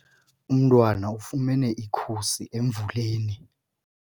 Umntwana ufumene ikhusi emvuleni.